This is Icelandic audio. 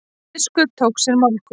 Biskup tók sér málhvíld.